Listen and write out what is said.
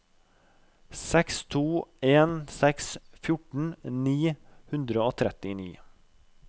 seks to en seks fjorten ni hundre og trettini